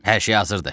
Hər şey hazırdır.